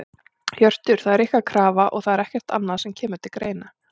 Hjörtur: Það er ykkar krafa og það er ekkert annað sem að kemur til greina?